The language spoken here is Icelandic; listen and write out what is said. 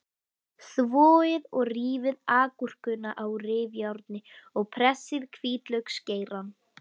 Þvoið og rífið agúrkuna á rifjárni og pressið hvítlauksgeirann.